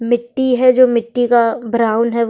मिट्टी है जो मिट्टी का ब्राउन है।